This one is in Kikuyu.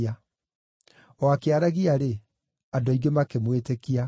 O akĩaragia-rĩ, andũ aingĩ makĩmwĩtĩkia.